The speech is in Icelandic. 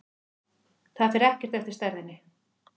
Það fer ekkert eftir stærðinni.